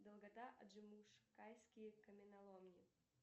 долгота аджимушкайские каменоломни